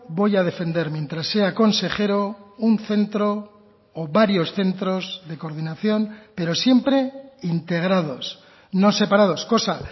voy a defender mientras sea consejero un centro o varios centros de coordinación pero siempre integrados no separados cosa